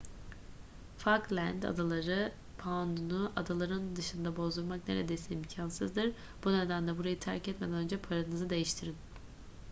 falkland adaları poundunu adaların dışında bozdurmak neredeyse imkansızdır bu nedenle burayı terk etmeden önce paranızı değiştirin